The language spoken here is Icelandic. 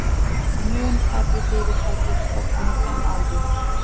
Mun færri fyrirtæki stofnuð en áður